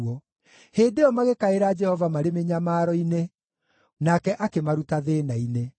Hĩndĩ ĩyo magĩkaĩra Jehova marĩ mĩnyamaro-inĩ, nake akĩmaruta thĩĩna-inĩ.